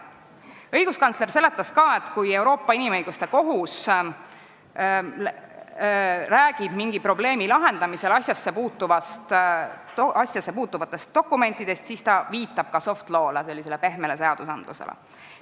Õiguskantsler seletas ka, et kui Euroopa Inimõiguste Kohus räägib mingi probleemi lahendamisel asjassepuutuvatest dokumentidest, siis ta viitab ka soft law'le, pehmele seadusandlusele.